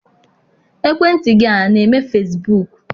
Ekwentị gị a na-eme fesibuuku?